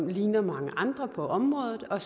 ligner mange andre på området og